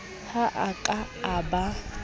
ha a ka a ba